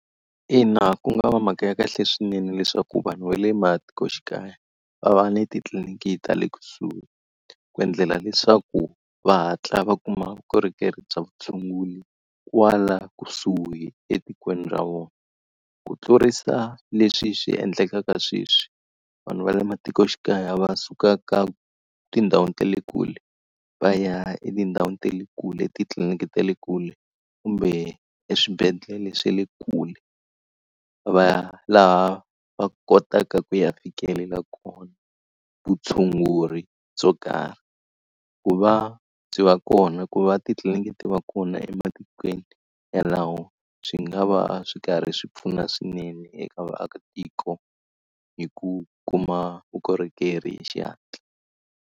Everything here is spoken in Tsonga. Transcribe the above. Ina, ku nga va mhaka ya kahle swinene leswaku vanhu va le matikoxikaya va va ni titliliniki ta le kusuhi, ku endlela leswaku va hatla va kuma vukorhokeri bya vutshunguri kwala kusuhi etikweni ra vona. Ku tlurisa leswi swi endlekaka sweswi. Vanhu va le matikoxikaya va suka ka tindhawini ta le kule, va ya etindhawini ta le kule titliliniki ta le kule, kumbe eswibedhlele swa le kule, va laha va kotaka ku ya fikelela kona vutshunguri byo karhi. Ku va byi va kona ku va titliliniki ti va kona ematikweni yalawo swi nga va swi karhi swi pfuna swinene eka vaakatiko hi ku kuma vukorhokeri hi xihatla.